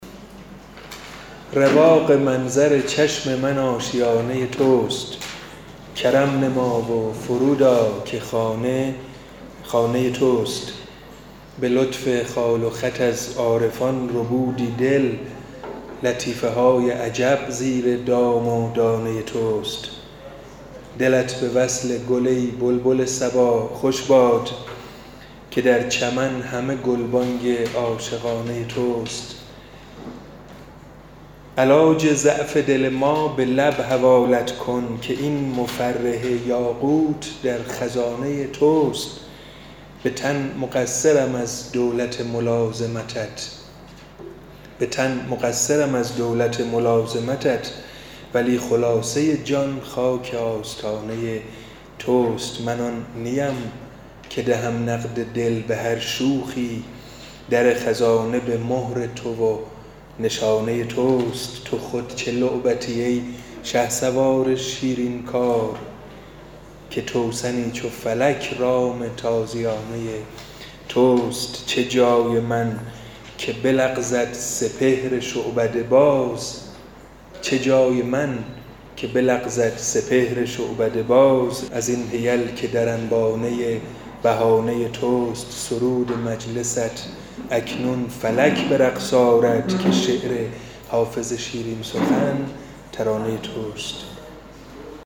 رواق منظر چشم من آشیانه توست کرم نما و فرود آ که خانه خانه توست به لطف خال و خط از عارفان ربودی دل لطیفه های عجب زیر دام و دانه توست دلت به وصل گل ای بلبل صبا خوش باد که در چمن همه گلبانگ عاشقانه توست علاج ضعف دل ما به لب حوالت کن که این مفرح یاقوت در خزانه توست به تن مقصرم از دولت ملازمتت ولی خلاصه جان خاک آستانه توست من آن نیم که دهم نقد دل به هر شوخی در خزانه به مهر تو و نشانه توست تو خود چه لعبتی ای شهسوار شیرین کار که توسنی چو فلک رام تازیانه توست چه جای من که بلغزد سپهر شعبده باز از این حیل که در انبانه بهانه توست سرود مجلست اکنون فلک به رقص آرد که شعر حافظ شیرین سخن ترانه توست